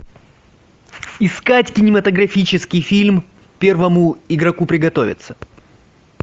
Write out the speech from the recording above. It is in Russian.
искать кинематографический фильм первому игроку приготовиться